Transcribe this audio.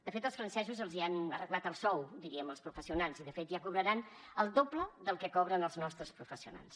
de fet els francesos els han arreglat el sou diríem als professionals i de fet ja cobraran el doble del que cobren els nostres professionals